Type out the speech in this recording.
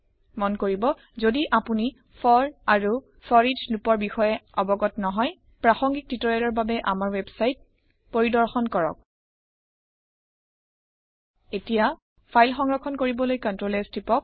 মন কৰিব যদি আপুনি ফৰ আৰু ফৰিচ লোপৰ বিষয়ে অৱগত নহয় প্ৰাসংগিক টিউটৰিয়েলৰ বাবে আমাৰ ৱেবছাইট পৰিদৰ্শন কৰক । ফাইল সংৰক্ষণ কৰিবলৈ Ctrl S টিপক